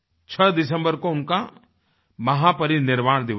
6 दिसम्बर को उनका महापरिनिर्वाण दिवस है